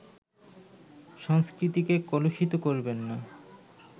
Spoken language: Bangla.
সংস্কৃতিকে কলুষিত করবেন না